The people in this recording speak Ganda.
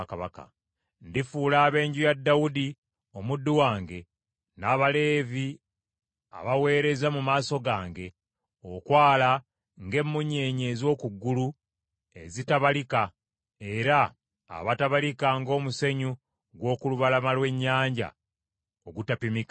Ndifuula ab’enju ya Dawudi omuddu wange n’Abaleevi abaweereza mu maaso gange okwala ng’emmunyeenye ez’oku ggulu ezitabalika era abatabalika ng’omusenyu gw’okulubalama lw’ennyanja ogutapimika.’ ”